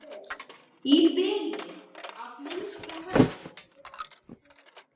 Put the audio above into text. Í bili að minnsta kosti.